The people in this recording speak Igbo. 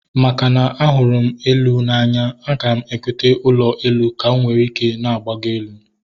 Makana ahụrụ m elu n'anya, aga m egota ụlọ elu ka m were na-agbago elu